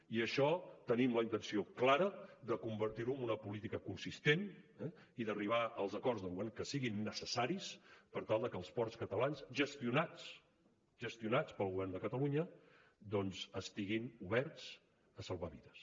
i això tenim la intenció clara de convertir ho en una política consistent eh i d’arribar als acords de govern que siguin necessaris per tal de que els ports catalans gestionats pel govern de catalunya doncs estiguin oberts a salvar vides